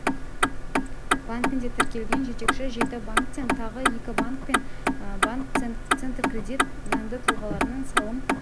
банкінде тіркелген жетекші жеті банктен тағы екі банк банк пен банк центркредит заңды тұлғалардың салым